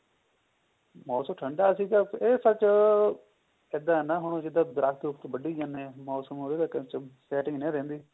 ਮੋਸਮ ਠੰਡਾ ਸੀਗਾ ਉਹ such ਏਦਾ ਹੈ ਨਾ ਹੁਣ ਸਿੱਧਾ ਦਰੱਖਤ ਵੱਡੀ ਜਾਂਦੇ ਐ ਮੋਸਮ ਉਹਦੇ ਕਰਕੇ setting ਨਹੀਂ ਨਾ ਰਹਿੰਦੀ